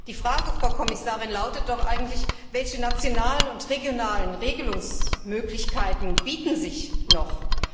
Die Frage, Frau Kommissarin, lautet doch eigentlich Welche nationalen und regionalen Regelungsmöglichkeiten bieten sich noch?